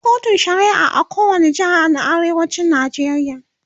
akwai kotun shari'a a kowani jeha na arewacin Najeriya